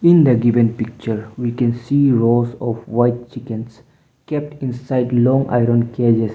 in the given picture we can see rows of white chickens kept inside long iron cages.